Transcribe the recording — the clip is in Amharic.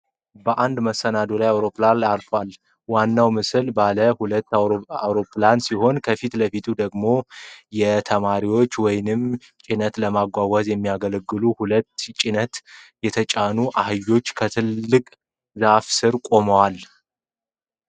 በአንድ መሰናዶ አውሮፕላን ማረፊያ ላይ አውሮፕላን አርፏል። ዋናው ምስል ባለ ሁለት ፕሮፔለር አውሮፕላን ሲሆን፣ ከፊት ለፊቱ ደግሞ ተሳፋሪዎችን ወይም ጭነትን ለማጓጓዝ የሚያገለግሉ ሁለት ጭነት የተጫኑ አህዮች ከትልቅ ዛፍ ስር ቆመዋል።